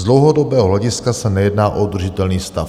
Z dlouhodobého hlediska se nejedná o udržitelný stav.